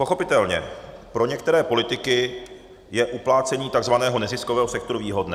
Pochopitelně pro některé politiky je uplácení takzvaného neziskového sektoru výhodné.